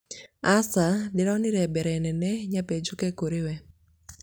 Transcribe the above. aca, ndĩronire mbere nene nyambe njũke kũrĩwe